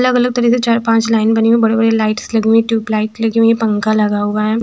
अलग अलग तरह के चार पांच लाइन बनी हुई बड़े बड़े लाइट्स लगी हुई है ट्यूब लाइट लगी हुई है पंखा लगा हुआ है।